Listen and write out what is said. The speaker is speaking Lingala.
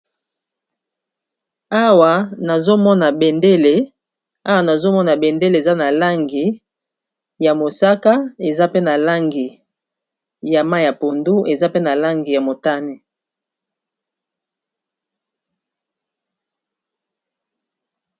awa nazomona bendeleawa nazomona bendele eza na langi ya mosaka eza pe na langi ya ma ya pondu eza pe na langi ya motane